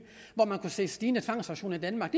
hvor man kunne se et stigende antal tvangsauktioner i danmark